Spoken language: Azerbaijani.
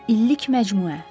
İllik məcmuə.